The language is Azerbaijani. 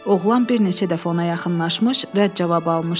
Oğlan bir neçə dəfə ona yaxınlaşmış, rədd cavabı almışdı.